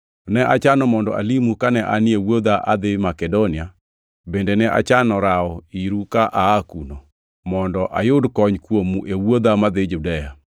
Ne achano mondo alimu kane anie wuodha adhi Makedonia, bende ne achano rawo iru ka aa kuno, mondo ayud kony kuomu e wuodha madhi Judea.